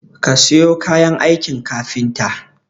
Kasayo kayan aikin kafita